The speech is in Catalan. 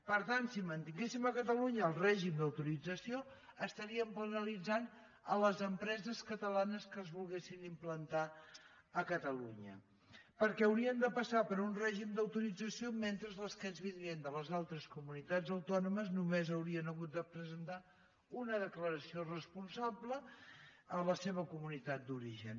per tant si mantinguéssim a catalunya el règim d’autorització penalitzaríem les empreses catalanes que es volguessin implantar a catalunya perquè haurien de passar per un règim d’autorització mentre que les que ens vindrien de les altres comunitats autònomes només haurien de presentar una declaració responsable a la seva comunitat d’origen